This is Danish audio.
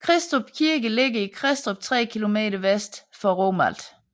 Kristrup Kirke ligger i Kristrup 3 km vest for Romalt